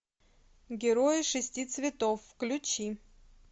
герои шести цветов включи